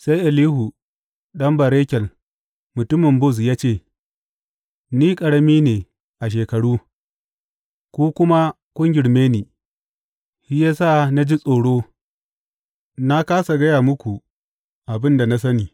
Sai Elihu ɗan Barakel mutumin Buz ya ce, Ni ƙarami ne a shekaru, ku kuma kun girme ni; shi ya sa na ji tsoro na kāsa gaya muku abin da na sani.